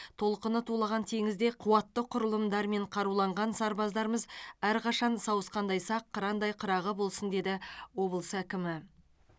толқыны тулаған теңізде қуатты құрылымдармен қаруланған сарбаздарымыз әрқашан сауысқандай сақ қырандай қырағы болсын деді облыс әкімі